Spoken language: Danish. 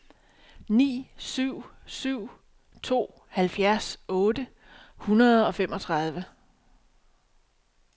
ni syv syv to halvfjerds otte hundrede og femogtredive